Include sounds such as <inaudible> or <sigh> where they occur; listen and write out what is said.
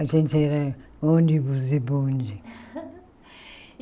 A gente era ônibus e bonde. <laughs>